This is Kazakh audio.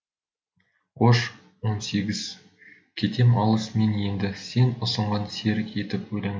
қош он сегіз кетем алыс мен енді сен ұсынған серік етіп өлеңді